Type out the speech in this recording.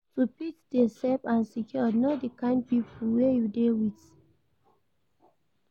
To fit de safe and secured Know di kind pipo wey you de with